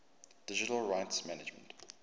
digital rights management